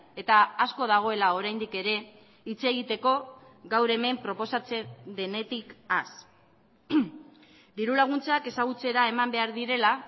eta asko dagoela oraindik ere hitz egiteko gaur hemen proposatzen denetik haz diru laguntzak ezagutzera eman behar direla